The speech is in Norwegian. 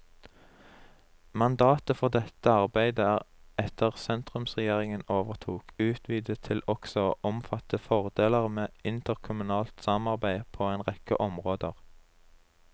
Mandatet for dette arbeidet er etter at sentrumsregjeringen overtok, utvidet til også å omfatte fordeler med interkommunalt samarbeide på en rekke områder.